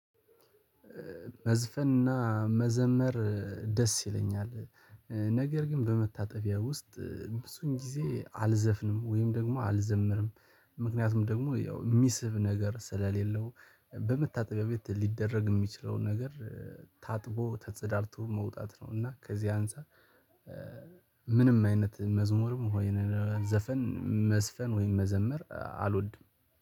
መዝፈንና መዘመር ደስ ይለኛል። ነገር ግን በመታጠቢያ ውስጥ ብዙን ጊዜ አልዘፍንም ወይም ደግሞ አልዘምርም። ምክንያቱም ደግሞ ያው ሚስብ ነገር ስለሌለው በመታጠቢያ ቤት ሊደረግ የሚችለውን ነገር ታጥቦ ተጽዳድቶ መውጣት ነው። እና ከዚህ አንፃር ምንም አይነት መዝሙርም ወይንም ዘፈን መስፈን ወይንም መዘምር አልወድም